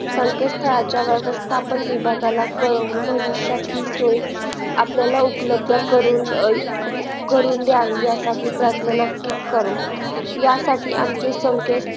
संकेतस्तळाच्या व्यवस्थापन विभागाला कळवून भविष्यात हि सोय आपल्याला उपलब्ध करून द्यावी यासाठी प्रार्थना नक्कीच करू यासाठी आमचे